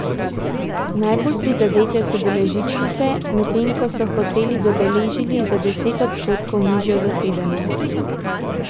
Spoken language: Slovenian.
Najbolj prizadete so bile žičnice, medtem ko so hoteli so zabeležili za deset odstotkov nižjo zasedenost.